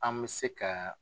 An me se ka